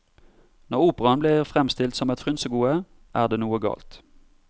Når operaen blir fremstilt som et frynsegode, er det noe galt.